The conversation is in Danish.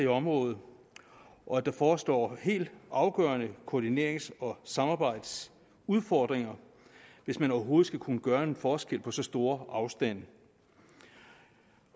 området og at der forestår helt afgørende koordinerings og samarbejdsudfordringer hvis man overhovedet skal kunne gøre en forskel på så store afstande